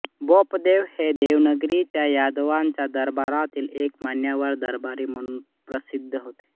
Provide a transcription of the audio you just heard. बोपदेव हे देवगिरीच्या यादवांच्या दरबारातील एक मान्यवर दरबारी म्हणून प्रसिद्ध होते